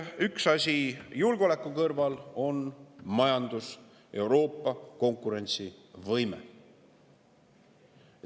Üks asi julgeoleku kõrval on majandus, Euroopa konkurentsivõime.